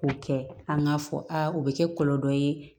O kɛ an ka fɔ aa o bɛ kɛ kɔlɔlɔ ye